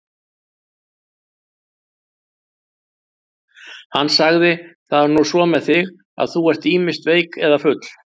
Hann sagði: Það er nú svo með þig, að þú ert ýmist veik eða full.